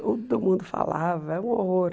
Todo mundo falava, era um horror.